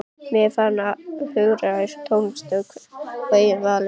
Mig er farið að hungra í tónlist að eigin vali.